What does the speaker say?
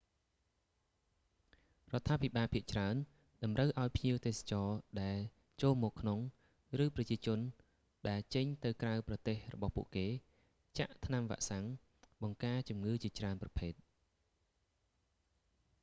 រដ្ឋាភិបាលភាគច្រើនតម្រូវឲ្យភ្ញៀវទេសចរដែលចូលមកក្នុង ឬប្រជាជនដែលចេញទៅក្រៅប្រទេសរបស់ពួកគេ ចាក់ថ្នាំវាក់សាំងបង្ការជំងឺជាច្រើនប្រភេទ